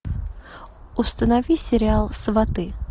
установи сериал сваты